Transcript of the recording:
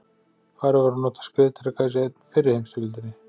Farið var að nota skriðdreka í fyrri heimsstyrjöldinni.